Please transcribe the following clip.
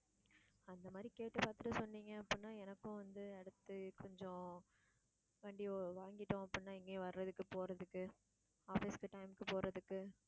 அந்தமாதிரி கேட்டு பாத்துட்டு சொன்னீங்க அப்படின்னா எனக்கும் வந்து அடுத்து கொஞ்சம் வண்டி வாங்கிட்டோம் அப்படின்னா எங்கயும் வர்றதுக்கு போறதுக்கு office க்கு time க்கு போறதுக்கு